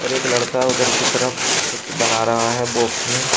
और एक लड़का उधर की तरफ कुछ बना रहा है बॉक्स में।